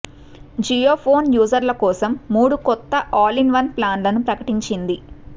Jio phone యూజర్ల కోసం మూడు కొత్త ఆల్ ఇన్ వన్ ప్లాన్లను ప్రకటించింది